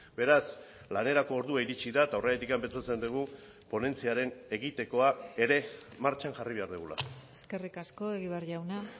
beraz lanerako ordua iritzi da eta horregatik pentsatzen dugu ponentziaren egitekoa ere martxan jarri behar dugula eskerrik asko egibar jauna